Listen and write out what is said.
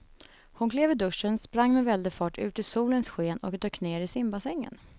Hon klev ur duschen, sprang med väldig fart ut i solens sken och dök ner i simbassängen.